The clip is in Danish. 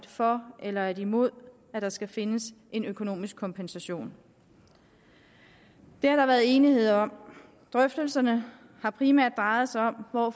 for eller imod at der skal findes en økonomisk kompensation det har der været enighed om drøftelserne har primært drejet sig om hvor